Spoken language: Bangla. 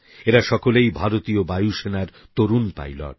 এঁরা সকলেই ভারতীয় বায়ুসেনার তরুণ পাইলট